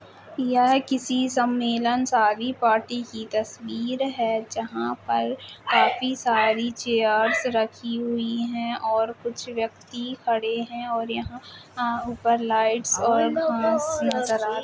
यह किसी सम्मलेन शादी पार्टी की तस्वीर है। जहां पर काफी सारी चेयर्स रखी हुई हैं और कुछ व्यक्ति खड़े हैं और यहाँ ऊपर लाईट और घास नजर आ रही --